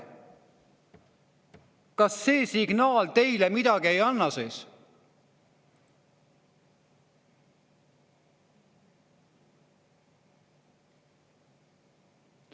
Kas see signaal teile midagi ei ütle?